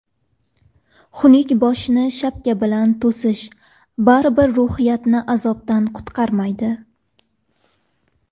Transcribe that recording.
Xunuk boshni shapka bilan to‘sish, baribir ruhiyatni azobdan qutqarmaydi.